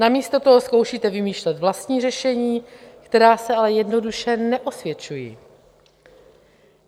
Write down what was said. Namísto toho zkoušíte vymýšlet vlastní řešení, která se ale jednoduše neosvědčují.